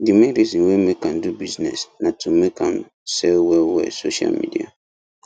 the main reason wey make am do bussines na to make am sell well well social media